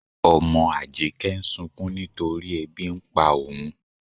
Ọmọ Ájíkẹ̀ ǹ sùnkún nítorí èbí n pá óun.